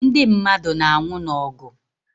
Ndị mmadụ na anwụ n'ogu